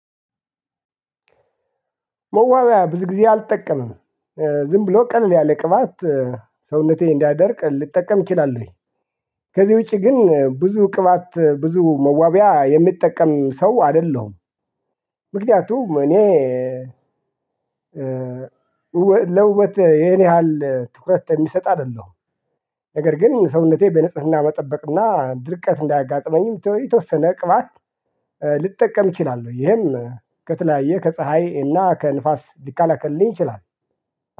መዋቢያ ብዙ ጊዜ አልጠቀምም። ዝም ብሎ ቀለል ያለ ቅባት ሰውነቴ እንዳይደርቅ ልጠቀም እችላለሁኝ። ከዚህ ውጪ ግን ብዙ ቅባት ብዙ መዋቢያ የምጠቀም ሰው አይደለሁም። ምክንያቱም እኔ ለውበት ይሄን ያህል ትኩረት የምሰጥ አይደለሁም። ነገር ግን ሰውነቴ በንጽህና መጠበቅና ድርቀት እንዳያጋጥመኝም የተወሰነ ቅባት ልጠቀም እችላለሁ ይሄም ከተለያየ ከፀሀይ እና ከንፋስ ሊከላከልልኝ ይችላል።